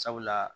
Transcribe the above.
Sabula